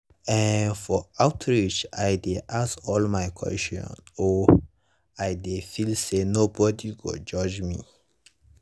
ehn for outreach i dey ask all my questions o i dey feel say nobody go judge me.